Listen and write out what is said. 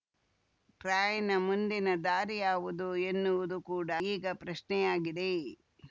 ಟ್ರಾಯ್‌ನ ಮುಂದಿನ ದಾರಿ ಯಾವುದು ಎನ್ನುವುದು ಕೂಡ ಈಗ ಪ್ರಶ್ನೆಯಾಗಿದೆ